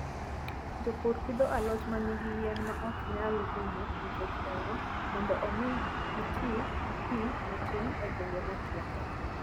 Jopur pidho alot ma nigi yien ma ok nyal rumo nikech oro, mondo omi giti gi pi matin e gwenge motwo.